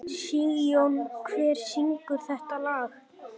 Sigjón, hver syngur þetta lag?